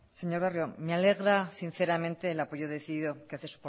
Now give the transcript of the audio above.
señor barrio me alegra sinceramente el apoyo decidido que hace